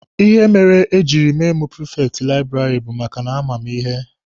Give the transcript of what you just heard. Ihe mere ha jiri mee mụ prifekti laịbụrarị bụ maka a ma mụ ihe.